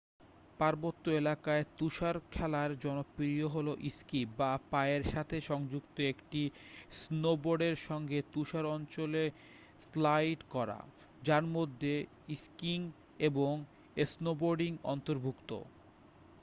পার্বত্য এলাকায় তুষারখেলায় জনপ্রিয় হল স্কি বা পায়ের সাথে সংযুক্ত একটি স্নোবোর্ডের সঙ্গে তুষার অঞ্চলে স্লাইড করা যার মধ্যে স্কিইং এবং স্নোবোর্ডিং অন্তর্ভুক্ত